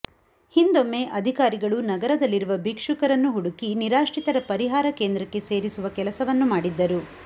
ಹಿಂದೊಮ್ಮೆ ಅಧಿಕಾರಿಗಳು ನಗರದಲ್ಲಿರುವ ಭಿಕ್ಷುಕರನ್ನು ಹುಡುಕಿ ನಿರಾಶ್ರಿತರ ಪರಿಹಾರ ಕೇಂದ್ರಕ್ಕೆ ಸೇರಿಸುವ ಕೆಲಸವನ್ನು ಮಾಡಿದ್ದರು